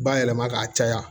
Bayɛlɛma ka caya